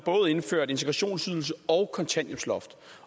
indført integrationsydelse og kontanthjælpsloft